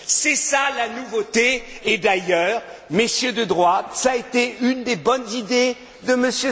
C'est cela la nouveauté, et d'ailleurs, Messieurs de droite, cela a été une des bonnes idées de